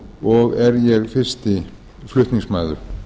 og er ég fyrsti flutningsmaður